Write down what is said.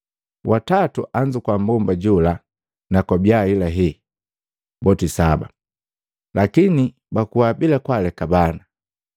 watatu anzukua mmbomba jola na kwabiya ahelahe boti saba, lakini bakuwa bila kwaaleka bana.